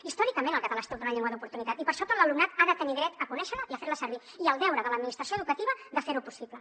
històricament el català ha estat una llengua d’oportunitat i per això tot l’alumnat ha de tenir dret a conèixer la i a fer la servir i el deure de l’administració educativa de fer ho possible